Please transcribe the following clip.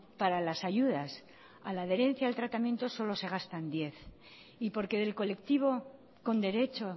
para las ayudas a la adherencia del tratamiento solo se gastan diez y porque del colectivo con derecho